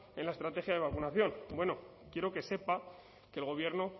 en la estrategia de vacunación bueno quiero que sepa que el gobierno